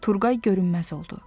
Turqay görünməz oldu.